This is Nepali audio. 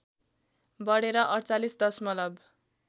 बढेर ४८ दशमलव